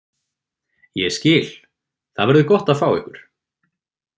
Ég skil- Það verður gott að fá ykkur.